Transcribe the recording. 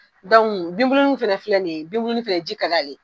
Dɔnku binbuluni fɛnɛ filɛ nin ye binbulu fɛnɛ ji ka d'a ye